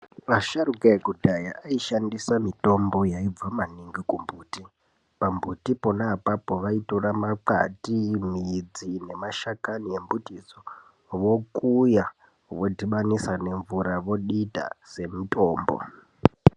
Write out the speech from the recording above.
Asharukwa vekudhaya vaishandisa mitombo yaibva maningi kumbuti. Pambuti pona apapo vaitora makwati ,midzi nemashakani embutidzo vokuya vodhibanisa nemvura vodita semutombo.